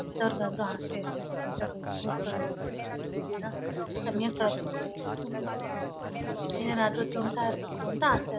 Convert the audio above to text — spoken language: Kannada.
ಎಂತವ್ರಗ್ ಆದ್ರೂ ಅಸೆ ಇರುತ್ತೆ ಇಂತ ದೊಡ್ದು ಹೋಟೆಲ್ ಒಂದ್ ಇಡೀ ದಿನಾ ಸಮಯ ಎಂಎನಾದ್ರು ತಿಂತ ಇರ್ಬೇಕು ಅಂತ ಅಸೆ